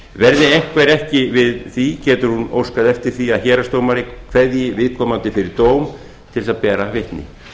verði einhver ekki við því getur hún óskað eftir því að héraðsdómari kveðji viðkomandi fyrir dóm til að bera vitni